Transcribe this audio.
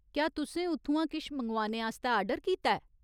क्या तु'सें उत्थुआं किश मंगोआने आस्तै आर्डर कीता ऐ ?